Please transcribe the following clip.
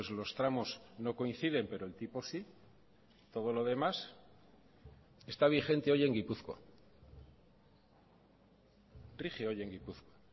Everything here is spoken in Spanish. los tramos no coinciden pero el tipo sí todo lo demás está vigente hoy en gipuzkoa rige hoy en gipuzkoa